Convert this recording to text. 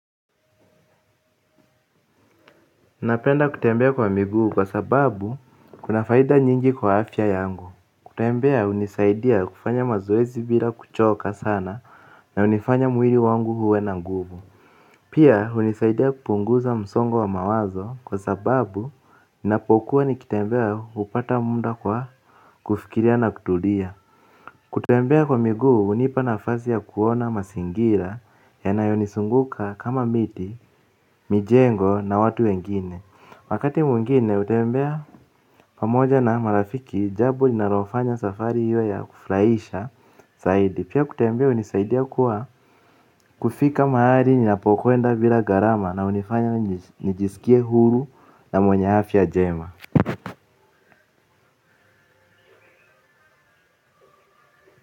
Napenda kutembea kwa miguu kwa sababu kuna faida nyingi kwa afya yangu. Kutembea hunisaidia kufanya mazoezi bila kuchoka sana na hunifanya mwili wangu uwe na nguvu. Pia hunisaidia kupunguza msongo wa mawazo kwa sababu ninapokuwa nikitembea hupata muda kwa kufikiria na kutulia. Kutembea kwa miguu hunipa nafasi ya kuona mazingira yanayonizunguka kama miti, mijengo na watu wengine. Wakati mwingine hutembea pamoja na marafiki jambo linalofanya safari iwe ya kufurahisha zaidi. Pia kutembea hunisaidia kwa kufika mahali ninapokwenda bila gharama na hunifanya nijisikie huru na mwenye afya njema.